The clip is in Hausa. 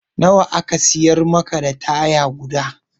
Na wa ne aka siyar maka da taya guda?